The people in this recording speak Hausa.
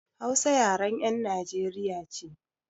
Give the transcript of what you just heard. Hausa yaren 'yan Najeriya ce.